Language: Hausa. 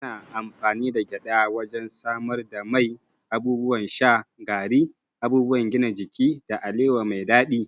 Ana amfani da gyada wajen samar da mai, abubuwan sha, gari, abubuwan gina jiki, da alewa mai daɗi.